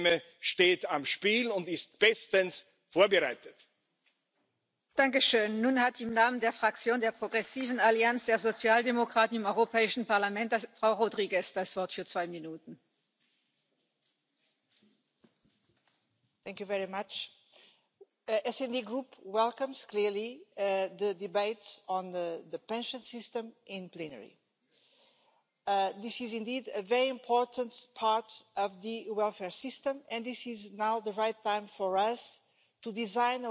der Europäischen Zentralbank massiv beschädigt. Andauernde Niedrigzinsen sorgen für die Entwertung der Sparvermögen und nehmen den Menschen eben die Möglichkeit, für ihre Rente angemessen privat vorzusorgen. Hinzu kommt, dass sich in meinem Land seit Jahren die Parteien im Wettstreit um die höchsten Renten übertrumpfen. Das hat dazu geführt, dass bereits heute rund 100 Milliarden aus dem Bundeshaushalt in die Rente fließen. Darunter leiden natürlich viele andere Bereiche wie Bildung, Infrastruktur, Verteidigung, Familienförderung und vieles mehr. Trotzdem liegt in Deutschland jede zweite Rente unter 800 Euro.